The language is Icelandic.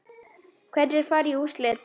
Hverjir fara í úrslit?